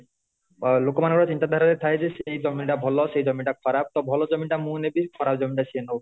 ଲୋକମାନଙ୍କ ଚିନ୍ତା ଧାରାରେ ଥାଏଯେ ସେ ଜମିଟା ଭଲ ଏ ଜମିଟା ଖରାପ ତ ଭଲ ଜମିଟା ମୁଁ ନେବି ଖରାପ ଜମିଟା ସେ ନଉ